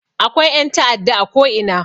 Akwai ƴan ta'adda a ko ina